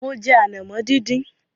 Mo jẹ ànàmọ́ díndín.